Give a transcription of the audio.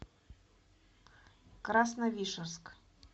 красновишерск